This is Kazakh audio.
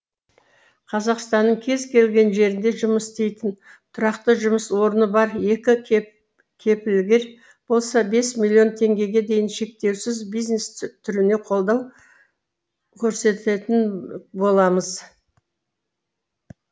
қазақстанның кез келген жерінде жұмыс істейтін тұрақты жұмыс орны бар екі кепілгер болса бес миллион теңгеге дейін шектеусіз бизнес түріне қолдау көрсететін боламыз